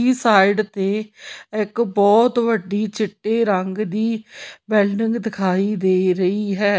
ਇਸ ਸਾਈਡ ਤੇ ਇੱਕ ਬਹੁਤ ਵੱਡੀ ਚਿੱਟੇ ਰੰਗ ਦੀ ਬਿਲਡਿੰਗ ਦਿਖਾਈ ਦੇ ਰਹੀ ਹੈ।